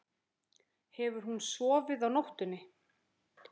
Hefur hún sofið á nóttunni?